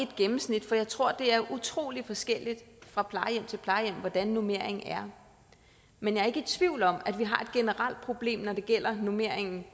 gennemsnit for jeg tror det er utrolig forskelligt fra plejehjem til plejehjem hvordan normeringen er men jeg er ikke i tvivl om at vi har et generelt problem når det gælder normeringen